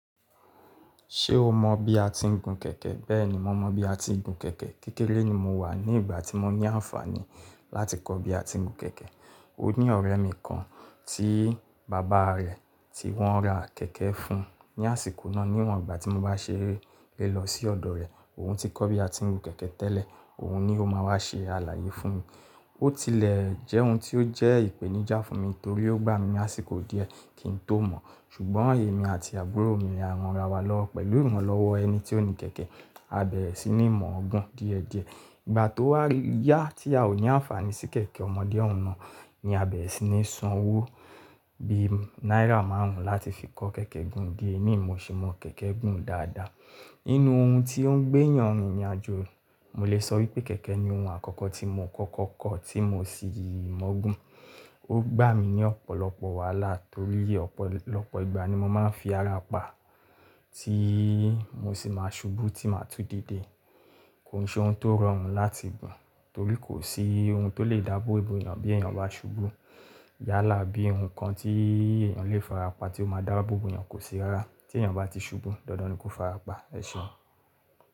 Ṣé o mọ bí a ti ń gun kẹ̀kẹ́? Bẹ́ẹ̀ni, mo mọ bí a ti ń gun kẹ̀kẹ́. Kékèré ni mo wà ní ìgbà tí mo ní àǹfààní láti kọ́ bí a ti ń gun kẹ̀kẹ́. Ó ní ọ̀rẹ́ mi kan tí bàbá rẹ̀ tí wọ́n ra kẹ̀kẹ́ fún un ní àsìkò náà. Níwọ́n, ìgbà tí mo bá ṣeré le lọ sí ọ̀dọ̀ rẹ̀, òun ti kọ́ bí a ti ń gun kẹ̀kẹ́ tẹ́lẹ̀, òun ni ó máa wá ṣe àlàyé fún mi. Ó tilẹ̀ jẹ́ ohun tí ó jẹ́ ìpèníjà fún mi torí ó gbá mi ní àsìkò díẹ̀ kí n tó mọ̀. Ṣùgbọ́n èmi àti àbúrò mi ni à ran'ra wa lọwo pẹ̀lú ìranlọ́wọ́ ẹni tí ó ni kẹ̀kẹ́. A bẹ̀rẹ̀ sí ní mọ̀ gún díẹ̀díẹ̀. Ìgbà tó wà yá tí a ò ní àǹfààní sí kẹ̀kẹ́ ọmọdé òun náà ni a bẹ̀rẹ̀ sí ní san owó bí i náírà márùn-ún láti fi kọ́ kẹ̀kẹ́ gùn díẹ̀ ní ìmo ṣe mọ kẹ̀kẹ́ gùn dáadáa. Nínú ohun tí ó ń gbé èèyàn rìnrìn àjò, mo lè sọ wípé kẹ̀kẹ́ ni ohun àkọ́kọ́ tí mo kọ́kọ́ kọ́ tí mo sì mọ̀ gùn. Ó gbá mi ní ọ̀pọ̀lọpọ̀ wàhálà torí ọ̀pọ̀lọpọ̀ ìgbà ni mo máa ń fi ara pa tí mo sì máa ṣubú tí màá tú dédé. Kòn ṣe ohun tó rọrùn láti gun torí kò sí ohun tó lè dábó bo'yàn bí èèyàn bá ṣubú. Yálà bí ohun kan tí èèyàn lè farapa tí ó máa dáábò bo'yàn kò sí rárá. Tí èèyàn bá ti ṣubú, dandan ni kó fara pa, ẹ̀ṣeun.